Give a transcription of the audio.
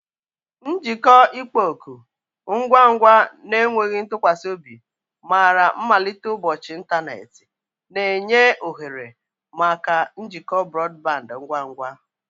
Njikọ ịkpọ oku, ngwa ngwa na enweghị ntụkwasị obi, mara mmalite ụbọchị ịntanetị, na-enye ohere maka njikọ brọdband ngwa ngwa.